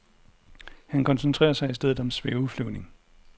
Han koncentrerer sig i stedet om svæveflyvning.